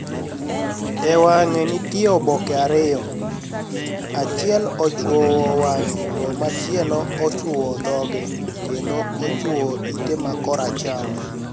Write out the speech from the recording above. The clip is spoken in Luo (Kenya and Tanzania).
E wanig'e niitie oboke ariyo; achiel ochwowo wanig'e, to machielo ochwowo dhoge, kenido ochwowo ite ma koracham.